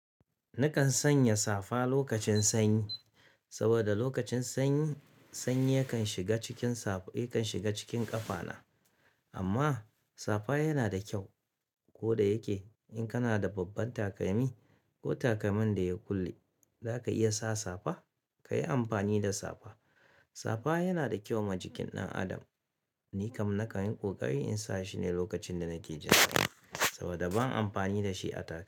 Nakan sanya safa lokacin sanyi, saboda lokacin sanyi, sanyi yakan shiga cikin safa, yakan shiga cikin ƙafana. Amma safa yana da kyau. Ko da yake in kana da babban takalmi ko takalmin da ya kulle, zaka iya sa safa, ka yi amfani da safa. Safa yana da kyau ma jikin ɗan adam. Ni kam nakanyi ƙoƙari in sa shi ne lokacin da nake jan ƙafa, saboda ban amfani da shi a taka--